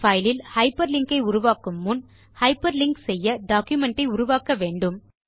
file இல் hyperlink ஐ உருவாக்கும் முன் ஹைப்பர்லிங்க் செய்ய டாக்குமென்ட் ஐ உருவாக்க வேண்டும்